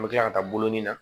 N bɛ tila ka taa bolonin na